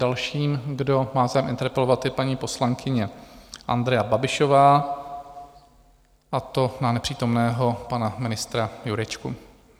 Dalším, kdo má zájem interpelovat, je paní poslankyně Andrea Babišová, a to na nepřítomného pana ministra Jurečku.